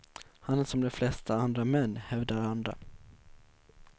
Han är som de flesta andra män, hävdar andra.